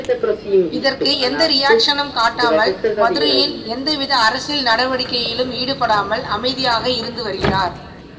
இதற்கு எந்த ரியாக்ஷனும் காட்டாமல் மதுரையில் எந்தவித அரசியல் நடவடிக்கையிலும் ஈடுபடாமல் அமைதியாக இருந்துவருகிறார்